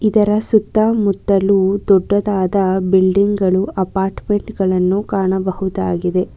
ಇದರ ಸುತ್ತ ಮುತ್ತಲು ದೊಡ್ಡದಾದ ಬಿಲ್ಡಿಂಗ್ ಗಳು ಅಪಾರ್ಟ್ಮೆಂಟ್ ಗಳನ್ನು ಕಾಣಬಹುದಾಗಿದೆ.